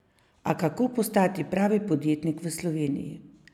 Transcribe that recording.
A kako postati pravi podjetnik v Sloveniji?